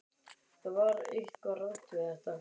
Það var eitthvað rangt við þetta.